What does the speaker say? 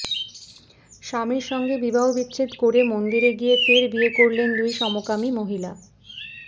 স্বামীর সঙ্গে বিবাহবিচ্ছেদ করে মন্দিরে গিয়ে ফের বিয়ে করলেন দুই সমকামী মহিলা